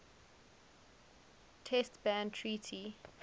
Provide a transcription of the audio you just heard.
test ban treaty